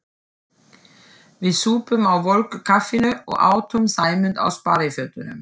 Við supum á volgu kaffinu og átum Sæmund á sparifötunum.